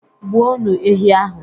Gbuonu ehi ahụ!